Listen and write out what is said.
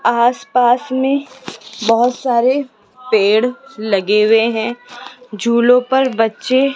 आसपास में बहुत सारे पेड़ लगे हुए हैं झूलों पर बच्चे --